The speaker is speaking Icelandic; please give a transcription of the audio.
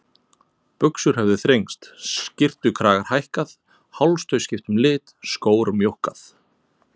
Buxur höfðu þrengst, skyrtukragar hækkað, hálstau skipt um lit, skór mjókkað.